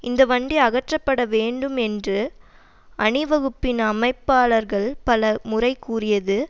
இந்த வண்டி அகற்றப்பட வேண்டும் என்று அணிவகுப்பின் அமைப்பாளர்கள் பல முறை கூறியது